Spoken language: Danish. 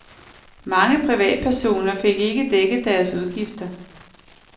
Mange privatpersoner fik ikke dækket deres udgifter.